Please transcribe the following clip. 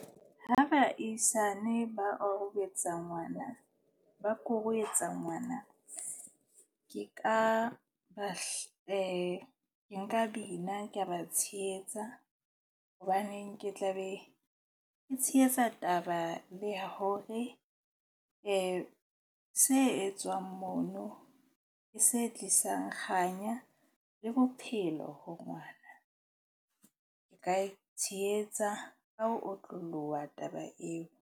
Ho baahisane ba ngwana, ba ngwana, ke ka ba nka bina ka ba tshehetsa. Hobaneng ke tla be ke tshehetsa taba le ya hore se etswang mono, ke se tlisang kganya le bophelo ho ngwana. Ke ka e tshehetsa ka ho otloloha taba eo.